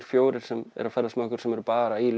fjórir sem eru að ferðast með okkur sem eru bara í